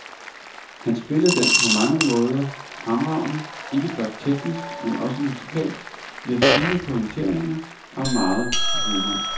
Han spillede den på mange måder fremragende, ikke blot teknisk men også musikalsk, med fine pointeringer og megen humor.